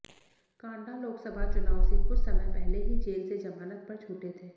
कांडा लोकसभा चुनाव से कुछ समय पहले ही जेल से जमानत पर छूटे थे